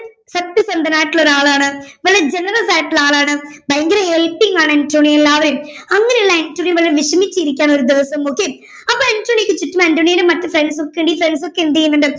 സത്യസന്ധൻ ആയിട്ടുള്ള ഒരാളാണ് വളരെ generous ആയിട്ടുള്ള ഒരു ആളാണ് ഭയങ്കര helping ആണ് അന്റോണിയോ എല്ലാവരെയും അങ്ങനെയുള്ള അന്റോണിയോ വളരെ വിഷമിച്ചിരിക്കുകയാണ് ഒരു ദിവസം okay അപ്പോ അന്റോണിയോക്ക് മന്റോണിയിലെ മറ്റ് friends ഒക്കെ ഉണ്ട് ഈ friends ഒക്കെ എന്ത് ചെയ്യുന്നുണ്ട്